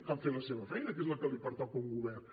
cal fer la seva feina que és la que li pertoca a un govern